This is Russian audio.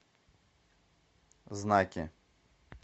знаки